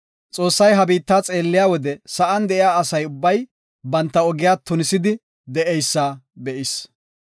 Xoossay ha biitta xeelliya wode sa7an de7iya asa ubbay banta ogiya tunisidi de7eysa be7is.